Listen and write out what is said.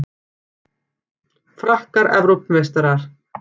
Frakkar Evrópumeistarar